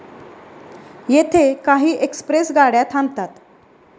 येथे काही एक्सप्रेस गाड्या थांबतात